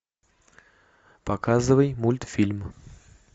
показывай мультфильм